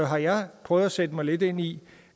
har jeg prøvet at sætte mig lidt ind i